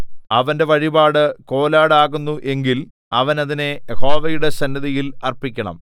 അവന്റെ വഴിപാട് കോലാട് ആകുന്നു എങ്കിൽ അവൻ അതിനെ യഹോവയുടെ സന്നിധിയിൽ അർപ്പിക്കണം